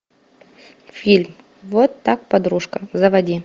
фильм вот так подружка заводи